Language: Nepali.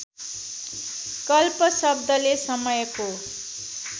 कल्प शब्दले समयको